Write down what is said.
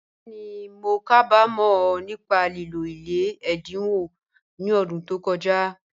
Bẹ́ẹ̀ni, mó kábàmọ̀ nípá lìlọ̀ ilẹ̀ èdínwọ̀ ní ọ̀dún tó kọ̀jà